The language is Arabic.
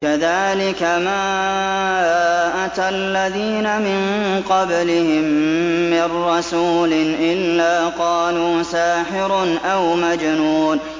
كَذَٰلِكَ مَا أَتَى الَّذِينَ مِن قَبْلِهِم مِّن رَّسُولٍ إِلَّا قَالُوا سَاحِرٌ أَوْ مَجْنُونٌ